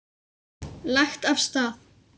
Lagt af stað